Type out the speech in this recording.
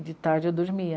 E de tarde eu dormia.